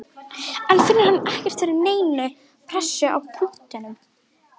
En finnur hann ekkert fyrir neinni pressu á punktinum?